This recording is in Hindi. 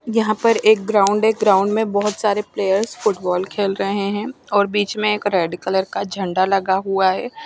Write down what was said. यहा पर एक ग्राउंड हैं ग्राउंड बहोत सारे प्लेयर फुटबोल खेल रहे हैं और बीच में एक रेड कलर का झंडा लगा हुआ है ।